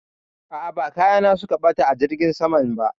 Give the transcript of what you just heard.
A'a, ba kaya na su ka ɓata a jirgin saman ba